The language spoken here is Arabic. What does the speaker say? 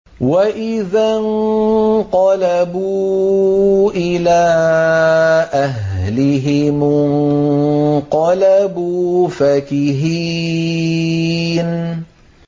وَإِذَا انقَلَبُوا إِلَىٰ أَهْلِهِمُ انقَلَبُوا فَكِهِينَ